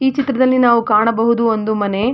ಈ ಚಿತ್ರದಲ್ಲಿ ನಾವು ಕಾಣಬಹುದು ಒಂದು ಮನೆ--